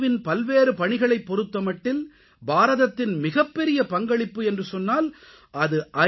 win பல்வேறு பணிகளைப் பொறுத்தமட்டில் பாரதத்தின் மிகப்பெரிய பங்களிப்பு என்று சொன்னால் அது ஐ